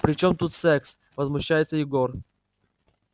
при чём тут секс возмущается егор